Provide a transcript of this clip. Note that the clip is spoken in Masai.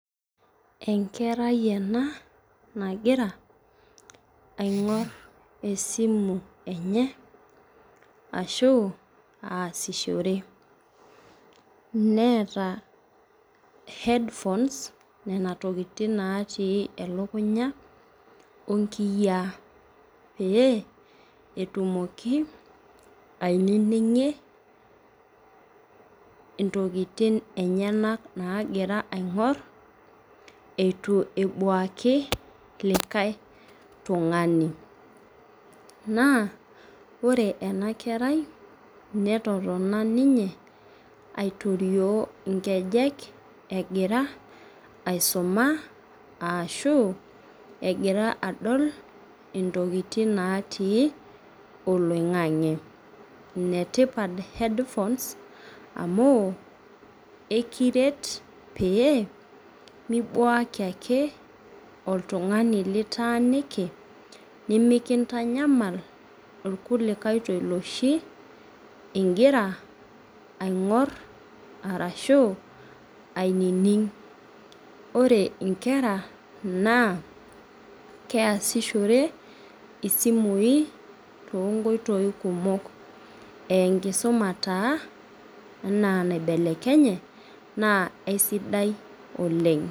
Enkerai ena nagira aingor esimu enye ashu aasishore neeta headphones nona tokitin natii elukunya onkiyaa petumoki ainingie intokitin eyenak nagira aingor ituebuaki likae tungani na ore enakerai netotona ninye aitotio nkejek egira aisuma ashu egira adol ntokitin natii oloingangi enetipat headohones amu ekiret pemibuaki ake oltungani litaaniki limikintanyamal irkulikae tolioshi ingira aingor arashu ainining ore nkera na keasishore simui tonkoitoi kumok aa enkisuma taa ena naibelekenye na aisidai oleng.